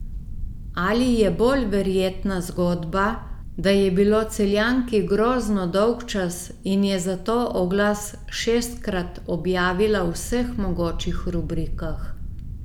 Ali je bolj verjetna zgodba, da je bilo Celjanki grozno dolgčas in je zato oglas šestkrat objavila v vseh mogočih rubrikah ...